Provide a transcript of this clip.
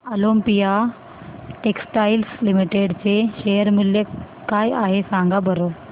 Olympia textiles limited चे share मूल्य काय आहे सांगा बरं